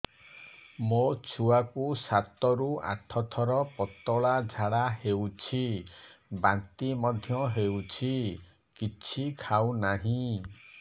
ମୋ ଛୁଆ କୁ ସାତ ରୁ ଆଠ ଥର ପତଳା ଝାଡା ହେଉଛି ବାନ୍ତି ମଧ୍ୟ୍ୟ ହେଉଛି କିଛି ଖାଉ ନାହିଁ